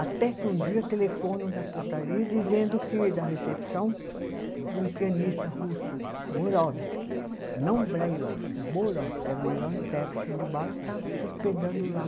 Até que um dia, telefonam da portaria dizendo que, da recepção, que um pianista russo, Borowsky, não Brailowsky, Borovsky, que era o maior intérprete de Bach, estava se hospedando lá.